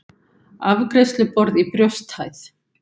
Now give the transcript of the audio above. Afgreiðsluborð í brjósthæð.